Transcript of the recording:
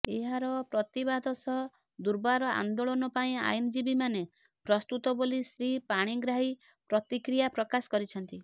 ଏହାର ପ୍ରତିବାଦ ସହ ଦୁର୍ବାର ଆନ୍ଦୋଳନ ପାଇଁ ଆଇନଜୀବୀମାନେ ପ୍ରସ୍ତୁତ ବୋଲି ଶ୍ରୀ ପାଣିଗ୍ରାହୀ ପ୍ରତିକ୍ରିୟା ପ୍ରକାଶ କରିଛନ୍ତି